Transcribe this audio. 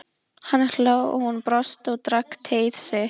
Hann hló og hún brosti og drakk teið sitt.